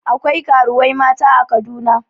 Akwai karuwai mata a Kaduna.